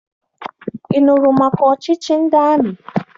Ị nụrụ maka ọchịchị ndị amị?